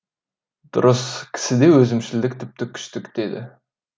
дұрыс кісіде өзімшілдік тіпті күшті дедік